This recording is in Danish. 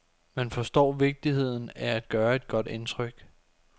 Man forstår vigtigheden af at gøre et godt indtryk.